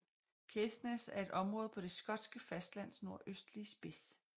Caithness er et område på det skotske fastlands nordøstlige spids